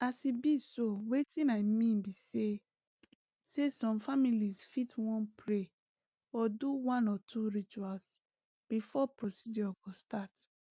as e be so wetin i mean be say say some families fit wan pray or do one or two rituals before procedure go start